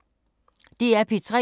DR P3